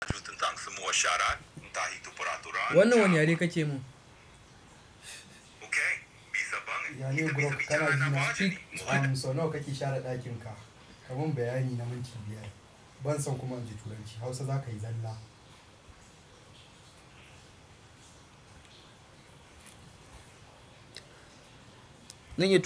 Wanne wane yare kake mun? Ya ne Brock kana ji na? So nawa kake share ɗakin ka? Ka mun bayani na minti biyar. Bana son kuma inji Turanci Hausa za ka yi zalla.